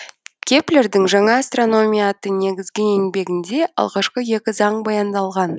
кеплердің жаңа астрономия атты негізгі еңбегінде алғашқы екі заң баяндалған